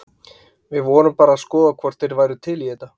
Við vorum bara að skoða hvort þeir væru til í þetta.